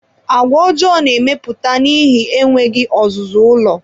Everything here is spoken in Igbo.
Àgwà ọjọọ na-emepụta n'ihi enweghị ọzụzụ ụlọ